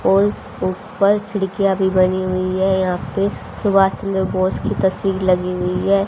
ओल उपल खिड़कियां भी बनी हुई है यहां पे सुभाष चन्द्र बोस की तस्वीर लगी हुई है।